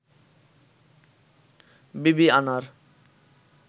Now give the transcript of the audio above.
বিবিআনার